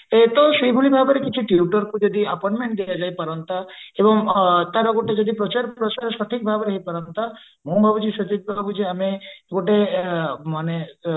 ଏକ ତ ସେଇଭଳି ଭାବରେ ଲିଛି tutor ଙ୍କୁ ଯଦି appointment ଦିଆଯାଇ ପାରନ୍ତା ଏବଂ ତାର ଗୋଟେ ଯଦି ପ୍ରଚାର ପ୍ରସାର ସଠିକ ଭାବରେ ହେଇ ପାରନ୍ତା ମୁଁ ଭାବୁଛି ସେତିକି ପର୍ଯ୍ୟନ୍ତ ଆମେ ଗୋଟେ ମାନେ